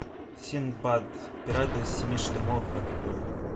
синдбад пираты семи штормов открой